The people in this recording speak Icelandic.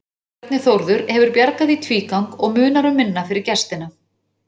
Bjarni Þórður hefur bjargað í tvígang og munar um minna fyrir gestina.